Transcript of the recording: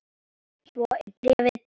Svo er bréfið búið